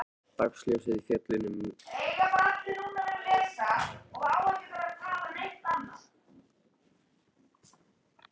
Dagsljósið féll inn um ljóra á þakinu beint á styttuna.